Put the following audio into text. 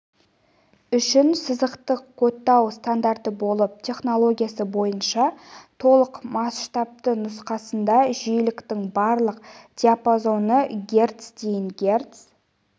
үшін сызықтық кодтау стандарты болып технологиясы бойынша толық масштабты нұсқасында жиіліктің барлық диапазоны герц дейін герц